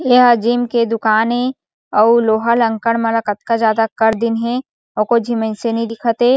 एहा जिम के दूकान ए अउ लोहा लक्कड़ मन कतका ज्यादा कर दीन हे एको झी मइनसे नि दिखत हे।